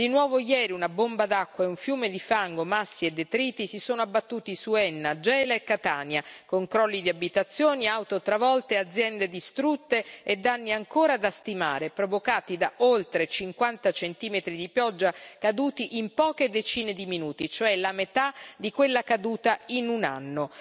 Di nuovo ieri una bomba d'acqua e un fiume di fango, massi e detriti si sono abbattuti su Enna, Gela e Catania, con crolli di abitazioni, auto travolte, aziende distrutte e danni ancora da stimare, provocati da oltre 50 centimetri di pioggia caduti in poche decine di minuti, cioè la metà di quella caduta in un anno.